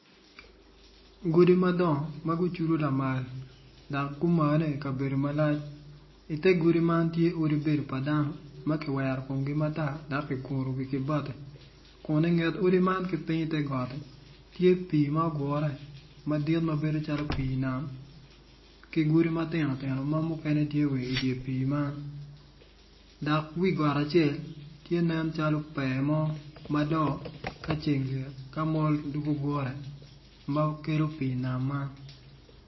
Godi madongo ma gucudu lamal dak gumane i kabedo malac ite godi man tye godi man tye odi bedo pa dano ma ki wero kumgi matar dak ki guru wigi ki bati kun ingetgi piny ite goti tye pii ma ogure ma bedo calo pii nam ki godi matino tino ma mukene tye wa idye pii man dok wi got acel tye nen calo pee mo malo ka ceng lyet ka mol dugu gure ma kelo pii nam man